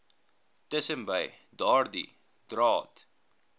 tussenbei daardie draad